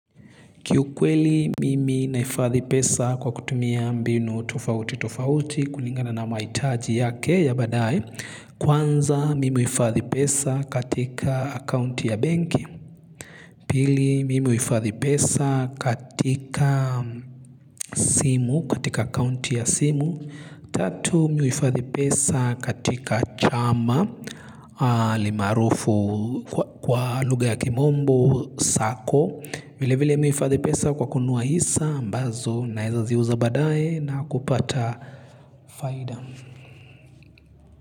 Kiukweli mimi naifadhi pesa kwa kutumia mbinu tofauti tofauti kulingana na mahitaji yake ya badae. Kwanza mimi hufadhi pesa katika akaunti ya benki. Pili mimi hufadhi pesa katika simu katika akaunti ya simu. Tatu mimi huifadhi pesa katika chama alimaarufu kwa luga ya kimombo, sako. Vile vile mihuifadhi pesa kwa kununua hisa ambazo na eza ziuza badaye na kupata faida.